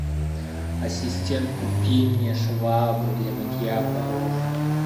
ассистент купи мне швабру для мытья полов